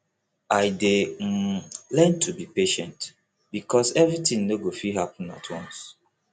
i dey um learn to be patient because everything no go fit happen at once